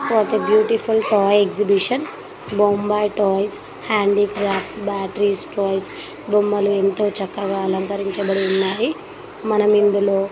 what a beautiful toy exhibition Bombay toys handicrafts batteries toys బొమ్మలు ఎంతో చక్కగా అలంకరించబడి ఉన్నాయి మనం ఇందుల--